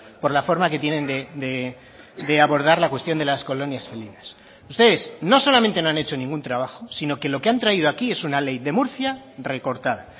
por la forma que tienen de abordar la cuestión de las colonias felinas ustedes no solamente no han hecho ningún trabajo sino que lo que han traído aquí es una ley de murcia recortada